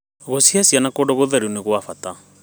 Gũcihe ciana kũndũ gũtheru nĩ gwa bata.